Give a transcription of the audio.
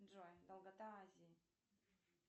джой долгота азии